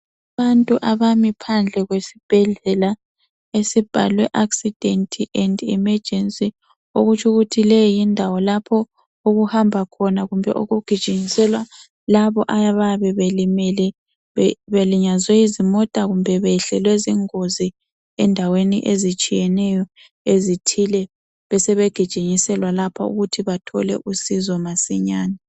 Abantu abami phandle kwesibhedlela esibhalwe accident and emergency okutsho ukuthi leyi yindawo lapho okuhambakhona kumbe okugijinyiselwakhona labo abayabe belimele belinyazwe yizimota kumbe behlelwe yizingozi endaweni ezitshiyeneyo ezithile besebegijinyiselwa lapha ukuthi bathole usizo